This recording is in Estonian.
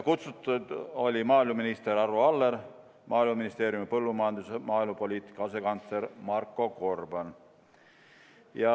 Kutsutud olid maaeluminister Arvo Aller ning Maaeluministeeriumi põllumajandus- ja maaelupoliitika asekantsler Marko Gorban.